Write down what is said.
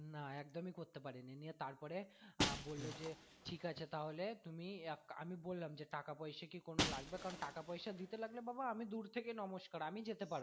না একদমি করতে পারিনি নিয়ে তারপরে আহ বললো যে ঠিক আছে তাহলে তুমি এক, আমি বললাম যে টাকা পয়সা কি কোনো লাগবে কারন টাকা পয়সা দিতে লাগলে বাবা আমি দূর থেকে নমস্কার আমি যেতে পার